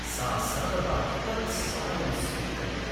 सा सर्वदा तत् समयं स्वीकरोति।